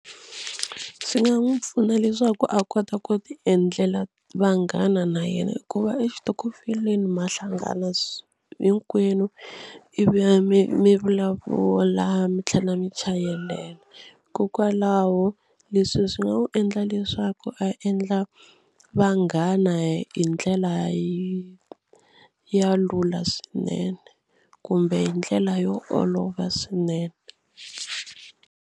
Swi nga n'wi pfuna leswaku a kota ku tiendlela vanghana na yena hikuva exitokofeleni ma hlangana hinkwenu ivi mi mi vulavula mi tlhela mi chayelela hikokwalaho leswi swi nga n'wi endla leswaku a endla vanghana hi ndlela ya lula swinene kumbe hi ndlela yo olova swinene.